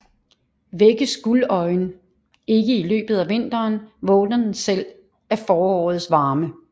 Vækkes guldøjen ikke i løbet af vinteren vågner den selv af forårets varme